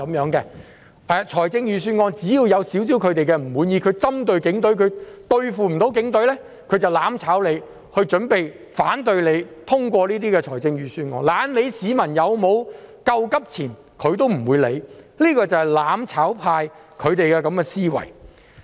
只要對預算案稍有不滿，因為針對警隊但不能對付警隊，他們便會"攬炒"，反對通過預算案，懶理市民有否救急錢，這便是"攬炒派"的思維。